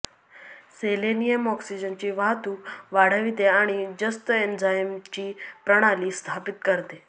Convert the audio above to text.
selenium ऑक्सिजनची वाहतूक वाढविते आणि जस्त एन्झाईमची प्रणाली स्थापित करते